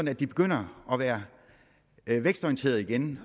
at de begynder at være vækstorienterede igen